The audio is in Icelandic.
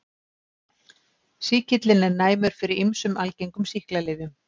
Sýkillinn er næmur fyrir ýmsum algengum sýklalyfjum.